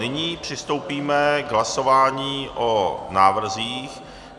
Nyní přistoupíme k hlasování o návrzích.